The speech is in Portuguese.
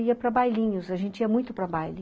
Eu ia para bailinhos, a gente ia muito para baile.